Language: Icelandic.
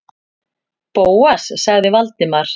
Bóas- sagði Valdimar.